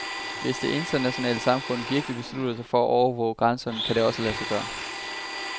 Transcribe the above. Hvis det internationale samfund virkelig beslutter sig for at overvåge grænserne, kan det også lade sig gøre.